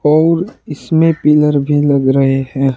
और इसमें पिलर भी लग रहे हैं।